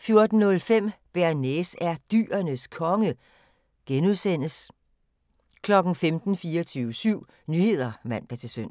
14:05: Bearnaise er Dyrenes Konge (G) 15:00: 24syv Nyheder (man-søn)